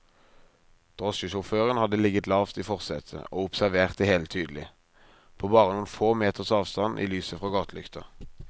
Drosjesjåføren hadde ligget lavt i forsetet og observert det hele tydelig, på bare noen få meters avstand i lyset fra gatelykta.